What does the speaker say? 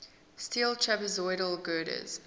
steel trapezoidal girders